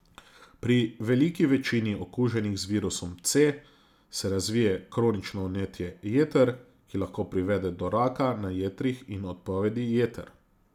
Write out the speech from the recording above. Pri veliki večini okuženih z virusom C se razvije kronično vnetje jeter, ki lahko privede do raka na jetrih in odpovedi jeter.